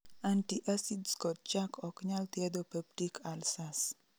Antiacids kod chak ok nyal thiedho peptic ulcers